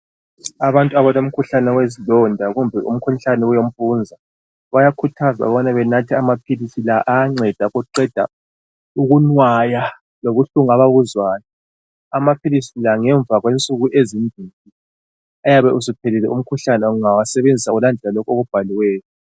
Abantu abalomkhuhlane wezilonda kumbe umkhuhlane wempunza bayakhuthazwa ukubana benathe amaphilisi la ayanceda ukuqeda ukunwaya lobuhlungu ababuzwayo. Amaphilisi la ngemva kwensuku ezimbili uyabe usuphelile umkhuhlane wonalowo ungalandela okubhaliwe.